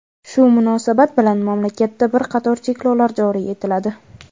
Shu munosabat bilan mamlakatda bir qator cheklovlar joriy etiladi.